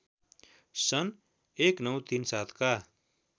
सन् १९३७ का